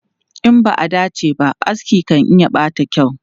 In ba a dace ba, aski kan iya ɓata kyau.